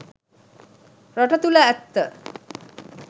රට තුළ ඇත්ත